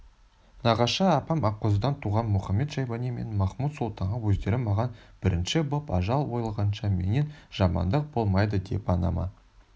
нағашы апам аққозыдан туған мұхамед-шайбани мен махмуд-сұлтанға өздері маған бірінші боп ажал ойлағанша менен жамандық болмайды деп анама